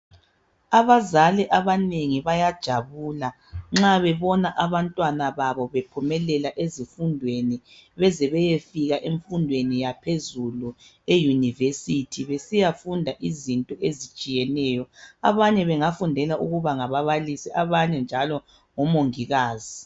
Abazali abanengi bayajabula nxa bebona abantwana baba bephumelela ezifundweni beze beyefika emfundweni yaphezulu eYunivesi besiyafunda izinto ezitshiyeneyo. Abanye bengafundela ukuba ngababalisi abanye njalo omongikazi.